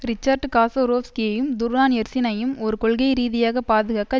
Richard காசோரோவ்ஸ்கியையும் துர்ஹான் எர்சினையும் ஒரு கொள்கைரீதியாக பாதுகாக்க